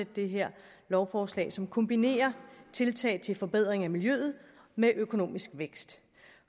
det her lovforslag som kombinerer tiltag til forbedring af miljøet med økonomisk vækst